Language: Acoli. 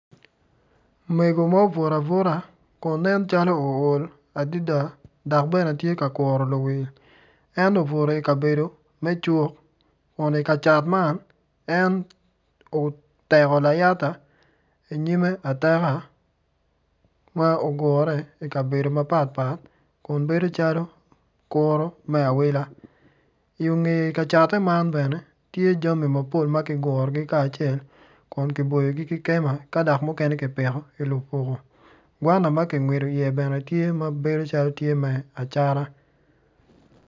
Mego ma obuto abuta kun nen calo ool adada dok bene tye ka kuro luwil en obuto ikabedo me cuk kun ika cat man, en oteko layata inyime ateka ma ogure ikabedo mapatpat kun bedo calo kuro me awila iyonge ka catte man bene, tye jami mapol ma kigurogi kacel kun kiburogi ki kema ka dok mukene kipiko ki lupuko gwana ma kingwido iye bene tye ma bedo calo me acata.